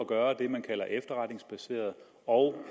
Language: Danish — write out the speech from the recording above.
gøre det man kalder efterretningsbaseret og